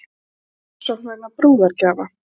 Ekki rannsókn vegna brúðargjafa